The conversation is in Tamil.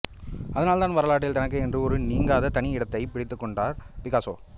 அதனால் தான் வரலாற்றில் தனக்கு என்று ஒரு நீங்காத தனி இடத்தைப் பிடித்துக் கொண்டார் பிகாசோ